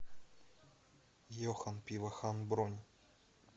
йохан пивохан бронь